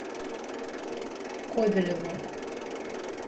кобелеву